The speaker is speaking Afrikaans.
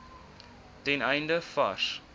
ten einde vars